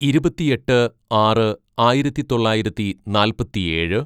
ഇരുപത്തിയെട്ട് ആറ് ആയിരത്തിതൊള്ളായിരത്തി നാൽപ്പത്തിയേഴ്‌